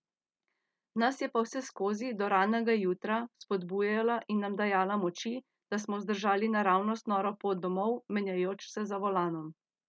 Nas je pa vseskozi, do ranega jutra, vzpodbujala in nam dajala moči, da smo zdržali naravnost noro pot domov, menjajoč se za volanom.